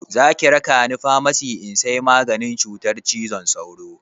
Zaki raka ni famasi in sai maganin cutar cizon sauro?